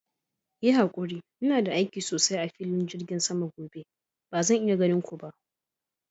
Yi hakuri, ina da aiki sosai a filin jirgin sama gobe; bazan iya ganin ku ba.